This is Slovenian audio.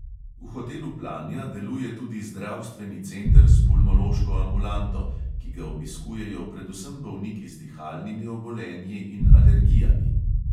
V hotelu planja deluje tudi zdravstveni center s pulmološko ambulanto, ki ga obiskujejo predvsem bolniki z dihalnimi obolenji in alergijami.